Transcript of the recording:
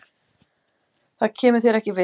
Það kemur þér ekki við.